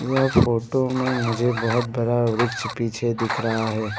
यह फोटो में मुझे बहुत बड़ा वृक्ष पीछे दिख रहा है।